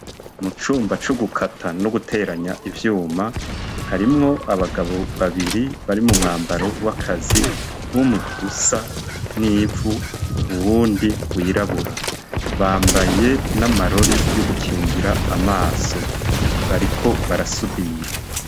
Mu cumba c'ugukata no guteranya ivyuma, harimwo abagabo babiri bari mu mwambaro w'akazi , umwe usa n'ivu uwundi wirabura. Bambaye n'amarori yo gukingira amaso ; bariko barasudira.